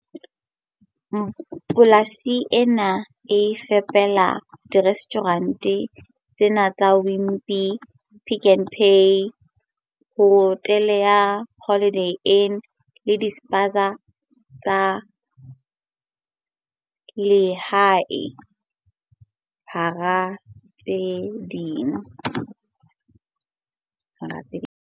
Polasi ena e fepela dire stjhurente tse nne tsa Wimpy, Pick n Pay, hotele ya Holiday Inn le dispaza tsa lehae, hara tse ding.